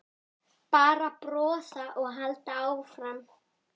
Bara brosa og halda áfram.